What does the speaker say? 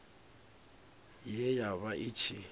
ye ya vha i tshi